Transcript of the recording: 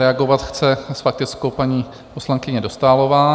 Reagovat chce s faktickou paní poslankyně Dostálová.